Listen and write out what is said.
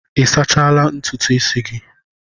Ị sachala ntutu isi gị?